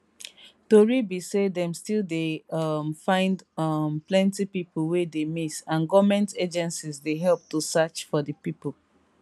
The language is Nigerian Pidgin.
tori be say dem still dey um find um plenti pipo wey dey miss and goment agencies dey help to search for di pipo